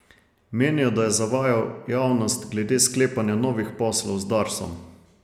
Menijo, da je zavajal javnost glede sklepanja novih poslov z Darsom.